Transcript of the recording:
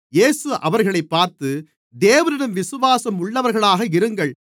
இயேசு அவர்களைப் பார்த்து தேவனிடம் விசுவாசம் உள்ளவர்களாக இருங்கள்